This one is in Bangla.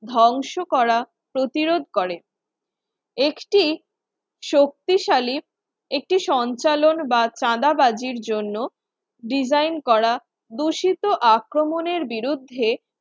ধ্বংস করা প্রতিরোধ করে একটি শক্তিশালী একটি সঞ্চালন বা চাঁদাবাজির জন্য design করা দূষিত আক্রমণের বিরুদ্ধে